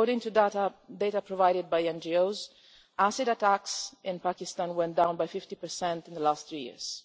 According to data provided by NGOs, acid attacks in Pakistan went down by 50 in the last three years